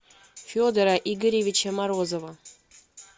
федора игоревича морозова